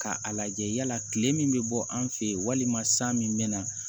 Ka a lajɛ yala kile min bɛ bɔ an fe yen walima san min bɛ na